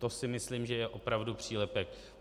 To si myslím, že je opravdu přílepek.